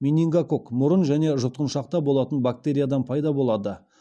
менингококк мұрын мен жұтқыншақта болатын бактериядан пайда болады